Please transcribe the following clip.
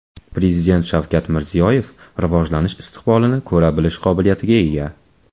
Prezident Shavkat Mirziyoyev rivojlanish istiqbolini ko‘ra bilish qobiliyatiga ega.